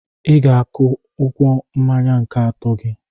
I ga-akụ ụgwọ mmanya nke atọ gị.